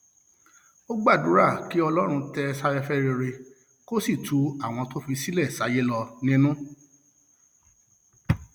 ó gbàdúrà kí um ọlọrun tẹ ẹ sáfẹfẹ rere kó sì tu àwọn tó fi sílẹ um sáyé lọ nínú